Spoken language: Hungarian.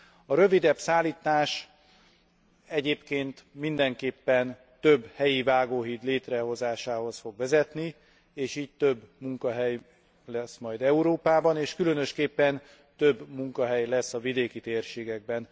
A rövidebb szállítás egyébként mindenképpen több helyi vágóhíd létrehozásához fog vezetni, és így több munkahely lesz majd Európában, és különösképpen több munkahely lesz a vidéki térségekben.